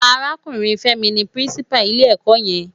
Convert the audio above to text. Árákúrin Femi ni Pirinsipá ilé èkò yèn